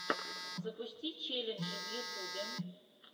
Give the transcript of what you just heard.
запусти челленджи в ютюбе